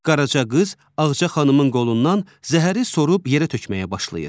Qaraca qız Ağca xanımın qolundan zəhəri sorub yerə tökməyə başlayır.